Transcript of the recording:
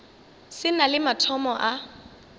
se na le mathomo a